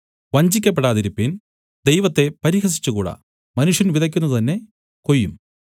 വഞ്ചിക്കപ്പെടാതിരിപ്പിൻ ദൈവത്തെ പരിഹസിച്ചുകൂടാ മനുഷ്യൻ വിതയ്ക്കുന്നത് തന്നെ കൊയ്യും